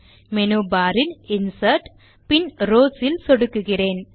menu bar இல் insert பின் rows ல் சொடுக்குகிறேன்